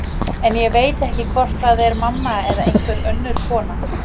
En ég veit ekki hvort það er mamma eða einhver önnur kona.